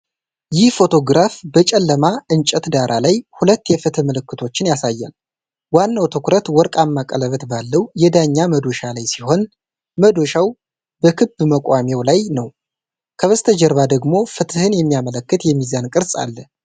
ይህ ፎቶግራፍ በጨለማ እንጨት ዳራ ላይ ሁለት የፍትህ ምልክቶችን ያሳያል። ዋናው ትኩረት ወርቃማ ቀለበት ባለው የዳኛ መዶሻ ላይ ሲሆን፣ መዶሻው በክብ መቆሚያው ላይ ነው። ከበስተጀርባ ደግሞ ፍትህን የሚያመለክት የሚዛን ቅርጽ አለ።